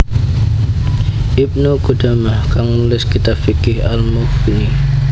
Ibnu Qudamah kang nulis kitab fiqh Al Mughni